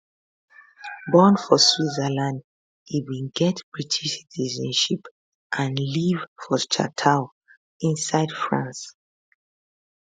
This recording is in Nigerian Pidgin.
born for switzerland e bin get british citizenship and live for chateau inside france